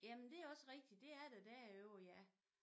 Jamen det er også rigtigt det er der derovre ja